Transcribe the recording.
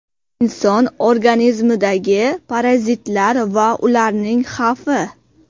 Inson organizmidagi parazitlar va ularning xavfi.